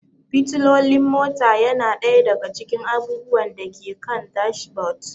Fitilolin mota yana ɗaya daga cikin abubuwan da ke kan dashboard.